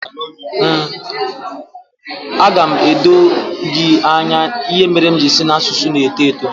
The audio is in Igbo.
Aga m edo gị anya ihe mere m ji sị na asụsụ na-eto eto